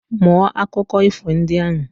Mụọ akụkọ ifo ndị ahụ